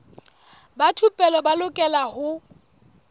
ba thupelo ba lokela ho